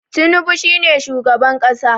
tunubu is the current president